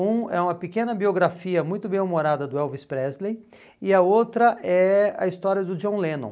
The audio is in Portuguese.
Um é uma pequena biografia muito bem-humorada do Elvis Presley e a outra é a história do John Lennon.